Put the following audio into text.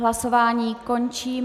Hlasováním končím.